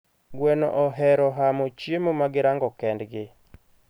gweno ohero hamo chiemo magirango kendgi